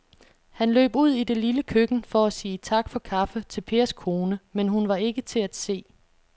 Han løb ud i det lille køkken for at sige tak for kaffe til Pers kone, men hun var ikke til at se.